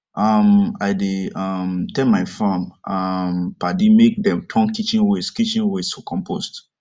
um i dey um tell my farm um padi make dem turn kitchen waste kitchen waste to compost